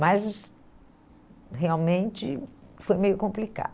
Mas realmente foi meio complicado.